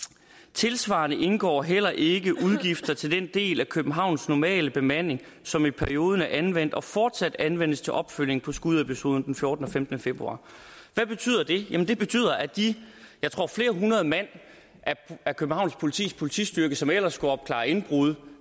tilsvarende indgår heller ikke udgifter til den del af københavns normale bemanding som i perioden er anvendt og fortsat anvendes til opfølgning på skudepisoderne den fjortende og femtende februar hvad betyder det det betyder at de jeg tror flere hundrede mand af københavns politis politistyrke som ellers skulle opklare indbrud